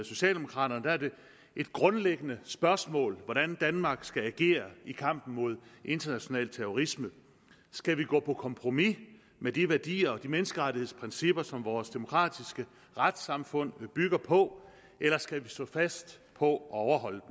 socialdemokrater er det et grundlæggende spørgsmål hvordan danmark skal agere i kampen mod international terrorisme skal vi gå på kompromis med de værdier og de menneskerettighedsprincipper som vores demokratiske retssamfund bygger på eller skal vi stå fast på at overholde